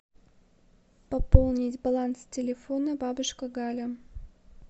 пополнить баланс телефона бабушка галя